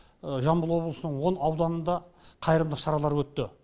жамбыл облысының он ауданында қайырымдылық шаралары өтті